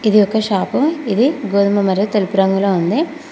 ఇది ఒక షాపు ఇది గోధుమ మరియు తెలుపు రంగులో ఉంది.